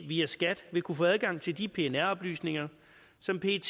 via skat vil kunne få adgang til de pnr oplysninger som pet